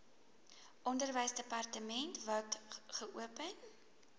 onderwysdepartement wkod geopen